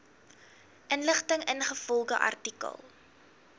inligting ingevolge artikel